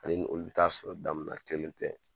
Ani olu bi taa sɔrɔ da min na kelen tɛ.